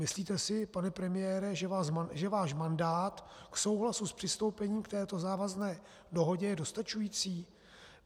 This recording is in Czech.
Myslíte si, pane premiére, že váš mandát k souhlasu s přistoupením k této závazné dohodě je dostačující?